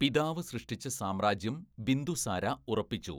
പിതാവ് സൃഷ്ടിച്ച സാമ്രാജ്യം ബിന്ദുസാര ഉറപ്പിച്ചു.